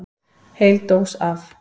Heil dós af